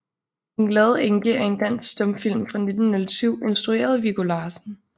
Den glade Enke er en dansk stumfilm fra 1907 instrueret af Viggo Larsen